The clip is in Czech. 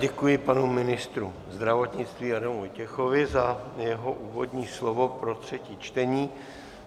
Děkuji panu ministru zdravotnictví Adamu Vojtěchovi za jeho úvodní slovo pro třetí čtení.